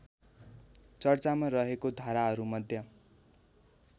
चर्चामा रहेको धाराहरूमध्ये